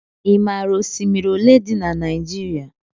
I maara osimiri olé dị n' Naijiria?